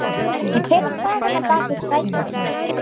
En hver er sagan á bak við strætóinn?